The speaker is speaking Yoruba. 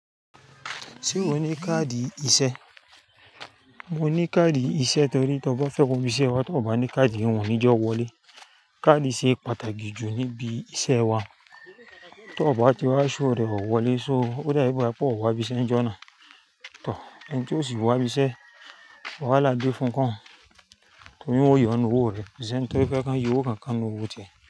Ṣé o ní káàdì iṣẹ́? Mo ní káàdì iṣẹ́ torí tí ọ bá fẹ́ kó mi iṣẹ́ wá tí o bá ní káàdì wọ́n ni í jọ wọlé. Káàdì ṣe pàtàkì jù níbí iṣẹ́ wa. Tí o bá ti wá ṣo rẹ̀ o wọlé, so ó dá bi gba pé o wá bí iṣẹ́ ń jọ́na. Tọ̀, ẹni tí ó sì wá bí iṣẹ́, wàhálà dé fún koun torí wọ́n yóò nu owó rẹ̀. Ko seni tó fẹ́ kí wọn yóò owó kankan nu owó tiẹ̀.